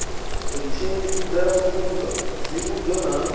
u tshimbidza pfunzo tsivhudzo na